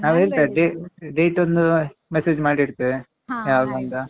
ನಾವೆಂತ date ಒಂದು message ಮಾಡಿ ಇಡ್ತೇವೆ ಒಂದು ಯಾವಾಗಾಂತ?